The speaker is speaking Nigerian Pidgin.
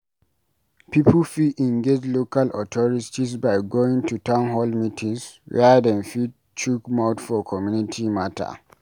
Pipo fit engage local authorities by going to town hall meetings where dem fit chook mouth for community matter